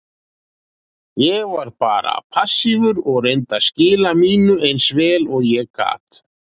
Ég var bara passífur og reyndi að skila mínu eins vel og ég gat.